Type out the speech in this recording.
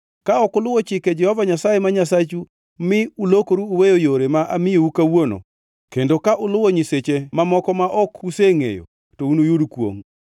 Ka ok uluwo chike Jehova Nyasaye ma Nyasachu mi ulokoru uweyo yore ma amiyou kawuono, kendo ka uluwo nyiseche mamoko ma ok usengʼeyo, to unuyud kwongʼ.